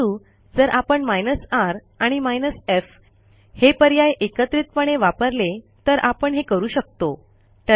परंतु जर आपण r आणि f हे पर्याय एकत्रितपणे वापरले तर आपण हे करू शकतो